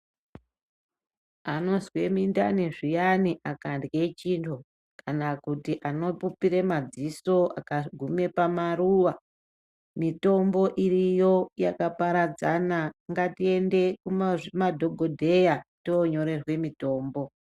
Anozwe mindani zviyani akarye chiro kana kuti anopupire madziso akagume pamaruwa. Mitombo iriyo yakaparadzana. Ngatiende kunadhogodheya toonyorerwe mitombo.